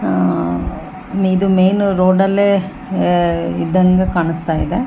ಇದು ಮೈನ್ ರೋಡಲ್ಲೆ ಅ ಇದ್ದಂಗೆ ಕಾಣ್ಸ್ತಾ ಇದೆ .